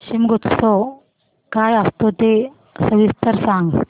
शिमगोत्सव काय असतो ते सविस्तर सांग